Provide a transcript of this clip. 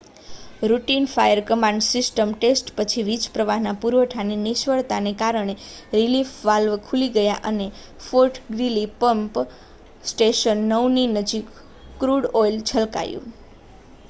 routine fire command system test પછી વીજપ્રવાહના પુરવઠાની નિષ્ફળતાને કારણે રિલીફ વાલ્વ ખુલી ગયા અને ફૉર્ટ ગ્રીલી પમ્પ સ્ટેશન 9ની નજીક ક્રૂડ ઑઇલ છલકાયું